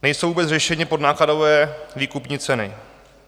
Nejsou vůbec řešeny podnákladové výkupní ceny.